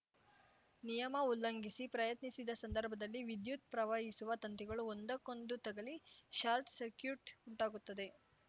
ನಿಯಮ ಉಲ್ಲಂಘಿಸಿ ಪ್ರಯತ್ನಿಸಿದ ಸಂದರ್ಭದಲ್ಲಿ ವಿದ್ಯುತ್‌ ಪ್ರವಹಿಸುವ ತಂತಿಗಳು ಒಂದಕ್ಕೊಂದು ತಗುಲಿ ಶಾರ್ಟ್‌ ಸಕ್ರ್ಯೂಟ್‌ ಉಂಟಾಗುತ್ತದೆ